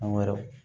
An yɛrɛw